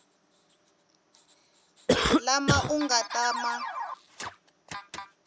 lama u nga ta ma